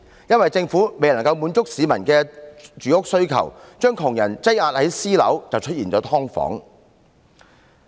因為政府未能滿足市民的住屋需求，將窮人擠壓至私樓，才出現"劏房"。